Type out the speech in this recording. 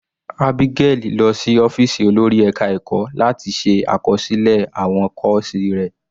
Abigail lọ sí ọ́fìsì olórí ẹka ẹ̀kọ́ láti ṣe àkọsílẹ̀ àwọn kọ́ọ̀sì rẹ̀.